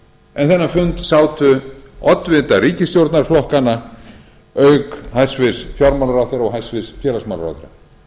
en þennan fund sátu oddvitar ríkisstjórnarflokkanna auk hæstvirtur fjármálaráðherra og hæstvirtur félagsmálaráðherra ég